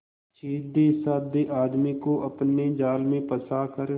सीधेसाधे आदमी को अपने जाल में फंसा कर